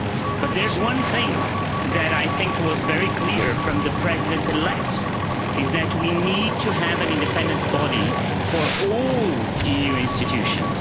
But there's one thing that I think was very clear from the President elect we need to have an independent body for all EU institutions.